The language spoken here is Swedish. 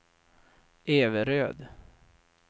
Everöd